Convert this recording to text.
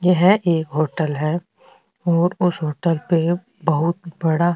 यह एक होटल है और उस होटल पे बहुत बड़ा --